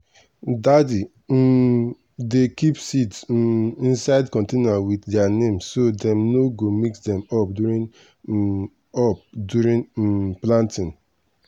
daddy um dey keep seeds um inside container with their name so dem no go mix them up during um up during um planting.